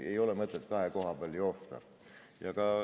Ei ole mõtet kahe koha vahet joosta.